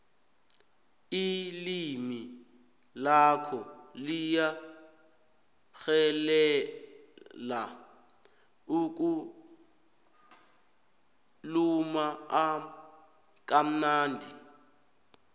ilimi lakho liyatjhelela ukhuluma kamnandi